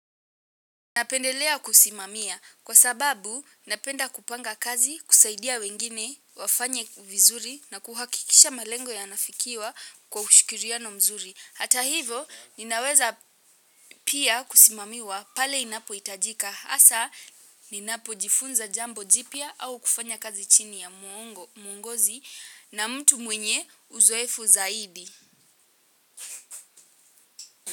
Napendelea kusimamia kwa sababu napenda kupanga kazi kusaidia wengine wafanye vizuri na kuhakikisha malengo ya nafikiwa kwa ushikiriano mzuri. Hata hivo ninaweza pia kusimamiwa pale inapo itajika. Hasa, ninapo jifunza jambo jipya au kufanya kazi chini ya mwongozi na mtu mwenye uzoefu zaidi.